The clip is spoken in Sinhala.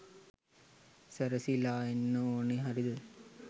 සැරසිලා එන්න ඕන හරිද?